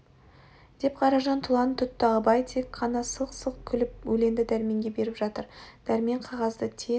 деп қаражан тұлан тұтты абай тек қана сылқ-сылқ күліп өленді дәрменге беріп жатыр дәрмен қағазды тез